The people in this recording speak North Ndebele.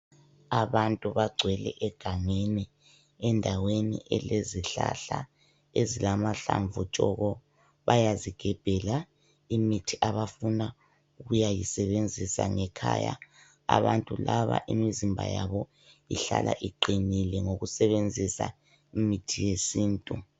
Abantu bagcwele egangeni endaweni elezihlahla ezilamahlamvu aluhlaza tshoko. Bayazigebhela imithi abafuna ukuyisebenzisa ngekhaya. Abantu laba imizimba yabo ihlala iqinile ngokusebenzisa imithi yesintu.